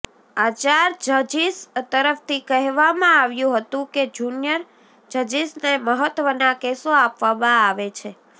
આ ચાર જજીસ તરફથી કહેવામાં આવ્યું હતું કે જુનિયર જજીસને મહત્વના કેસો આપવામાં આવે છે